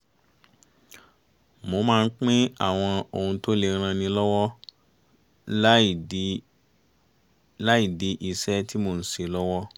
mo máa ń pín àwọn ohun tó lè ran ni lọ́wọ́ láì dí iṣẹ́ tí mò ń ṣe lọ́wọ́